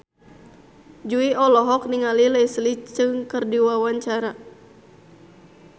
Jui olohok ningali Leslie Cheung keur diwawancara